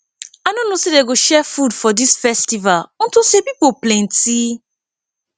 i no know say dey go share food for dis festival unto say people plenty